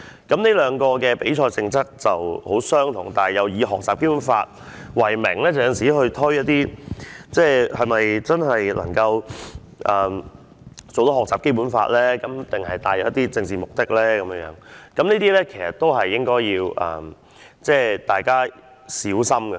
這兩個比賽的性質十分相近，均以學習《基本法》為名舉行比賽，但是否真的鼓勵學習《基本法》的知識，還是帶有政治目的，大家都應該要小心。